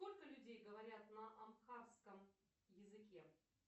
сколько людей говорят на абхазском языке